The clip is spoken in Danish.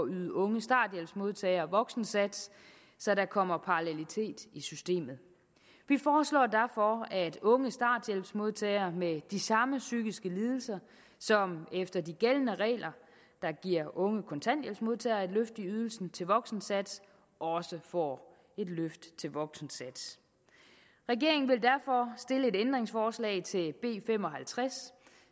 yde unge starthjælpsmodtagere voksensats så der kommer parallelitet i systemet vi foreslår derfor at unge starthjælpsmodtagere med de samme psykiske lidelser som efter de gældende regler giver unge kontanthjælpsmodtagere et løft i ydelsen til voksensats også får et løft til voksensats regeringen vil derfor stille et ændringsforslag til b fem og halvtreds